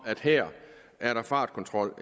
at her er der fartkontrol